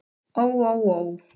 Ó ó ó.